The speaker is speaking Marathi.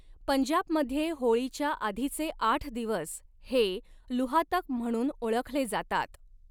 पंजाबमध्ये होळीच्या आधीचे आठ दिवस हे 'लुहातक' म्हणून ओळखले जातात.